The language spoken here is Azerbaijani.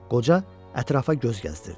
Qoca ətrafa göz gəzdirdi.